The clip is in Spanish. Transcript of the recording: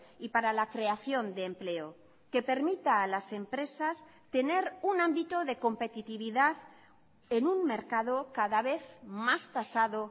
y para la creación de empleo que permita a las empresas tener un ámbito de competitividad en un mercado cada vez más tasado